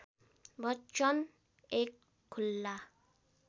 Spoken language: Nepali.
बच्चन एक खुला